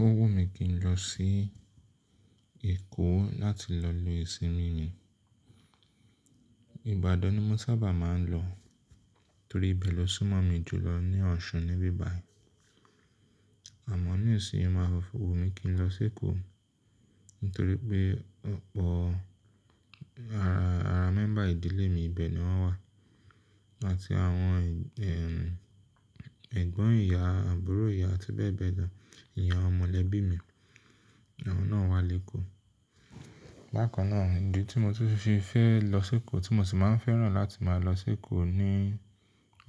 O wù mí kí n lọ sí Èkó láti lọ lo ìsinmi mi. Ìbàdàn ni mo sábà máa ń lọ torí ibẹ̀ ló súnmọ́ mi jù lọ ní Ọ̀ṣun níbí báyìí. Àmọ́ ní ìsinyi o máa wù mi kí n lọ sí Èkó nítorí pé gbogbo ara, ara mẹ́ńbà ìdílé mi ibẹ̀ ni wọ́n wà. Áti àwọn, ẹ, ẹ̀gbọ́n ìyá, àbúrò ìyá àti bẹ́ẹ̀ bẹ́ẹ̀ lọ, awọn mọ̀lẹ́bí mi, àwọn náà wà lÉkó. Bákan náà, ìdí tí mo tún fi fẹ́ lọ sí Èkó tí mo sì máa ń fẹ́ràn láti máa lọ sí Èkó ní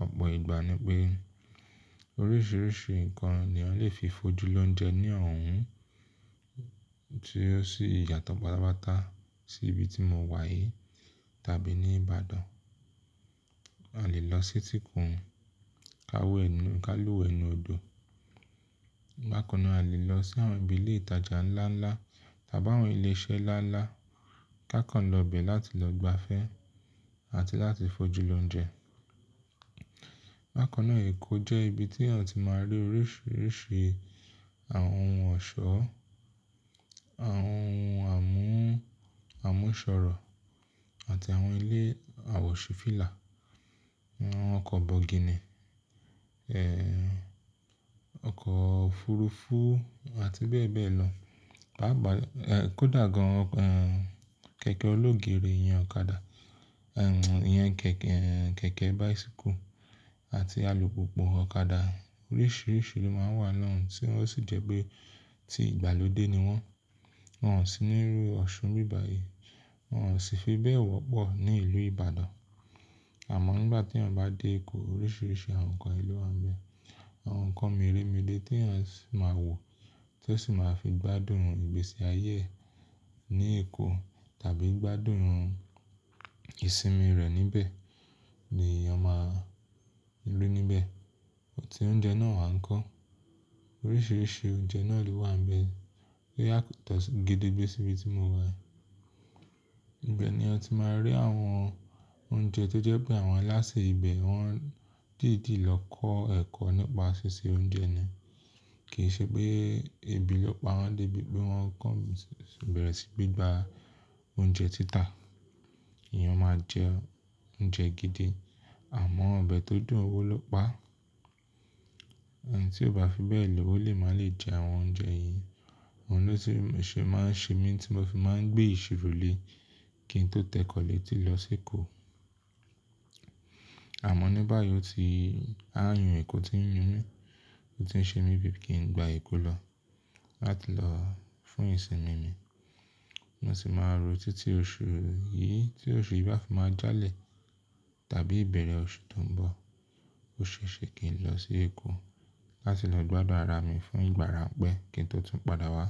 ọ̀pọ̀ ìgbà ni pé oríṣiríṣi nǹkan ni ń lè fi fojú lóúnjẹ ní ọ̀hún tí ó sì yàtọ̀ páta páta sí ibi tí mo wà yìí tàbí ní Ìbàdàn. A lè lọ sí etíìkún, ka wẹ nu, ká wẹ nu odò. Bákan náà, a lè lọ sí àwọn ibi ilé ìtajà ńlá ńlá tàbí àwọn ilé iṣẹ́ ńlá ńlá ká kàn lọ bẹ̀ láti lọ gbafẹ́ àti láti fojú lóúnjẹ. Bákan náà, Èkó jẹ́ ibi tí a ti máa rí oríṣiríṣi àwọn ohun ọ̀ṣọ́, àwọn ohun àmú-àmúṣọ̀rọ̀ àti àwọn ilé àwọ̀ṣífìlà, àwọn ọkọ̀ bọ̀gìnì, ẹ, ọkọ̀ òfurufú àti bẹ́ẹ̀ bẹ́ẹ̀ lọ. Paa pa, ẹ, kódà gan-an, ẹ, kẹ̀kẹ́ olóògèré, iyan ọ̀kadà, ẹ, iyan kẹ̀kẹ́, ẹ, kẹ̀kẹ́ báisíkù àti alùpùpù ọ̀kadà oríṣiríṣi ló máa ń wà lọ́hùn tí ó sì jẹ́ pé tí ìgbàlódé ni wọ́n. Wọn ò sí nílùú Ọ̀ṣun níbí báyìí, wọ́n ò sì fi bẹ́ẹ̀ wọ́pọ̀ ní ìlú Ìbàdàn. Àmọ́ nígbà tí ọ̀n bá dé Èkó, oríṣiríṣi àwọn nǹkan ẹlẹ́wọ̀n á ń bẹ. Àwọn nǹkan mìré mìré tí a sì máa wò tí o sì máa fi gbádùn ìgbésí ayé e ní Èkó tàbí gbádùn ìsinmi rẹ níbẹ̀ ni èèyàn máa ń lú níbẹ̀. Ọtí, oúnjẹ náà wà ńkọ́. Oríṣiríṣi oúnjẹ náà lè wà ń bẹ tó yàtọ̀ gidi gan síbi tí mo wà. Ibẹ̀ ni ẹ ti máa rí àwọn oúnjẹ tó jẹ́ pé àwọn aláṣẹ ibẹ̀ wọ́n dìdi lọ kọ́ ẹ̀kọ́ nípa ṣíṣe oúnjẹ ni. Kì í ṣe pé ebi ló pa wọ́n débi pé wọ́n kọ̀ bẹ̀rẹ̀ sí gba oúnjẹ títà. Ìyẹn máa jẹ oúnjẹ gidi àwọn ọ̀bẹ tó dùn wó ló pa. Ẹni tí ó bá fi bẹ́ẹ̀ lò ó lè máa le jẹ àwọn oúnjẹ yìí. Ohun tó ti máa ń ṣe mí tí mo fi máa ń gbé ìṣirò le kí n tó tẹ́kọ̀lé tí lọ sí Èkó. Àmọ́ ní báyìí ó ti, aáyàn Èkó ti ń mú mí, ó ti ń ṣe mí bí i kí n gba Èkó lọ láti lọ fún ìsinmi mi. Mo sì máa rò títí oṣù yìí tí oṣù yìí bá fi máa jálẹ̀ tàbí ìbẹ̀rẹ̀ oṣù tó ń bọ̀ ó ṣe ṣe kí n lọ sí Èkó láti lọ gbádùn ara mi fún ìgbà ìráǹpẹ́ kí n tó tún padà wá.